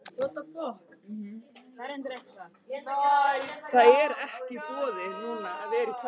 Þær rannsóknir hafa lagt heilmikið til heildarmyndar okkar af Grikklandi hinu forna.